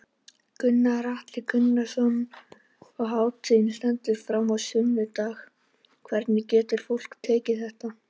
Gunnar Atli Gunnarsson: Og hátíðin stendur fram á sunnudag, hvernig getur fólk tekið þátt?